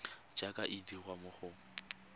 jaaka e dirwa mo go